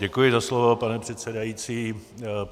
Děkuji za slovo, pane předsedající.